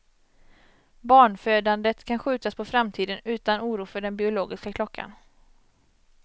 Barnfödandet kan skjutas på framtiden, utan oro för den biologiska klockan.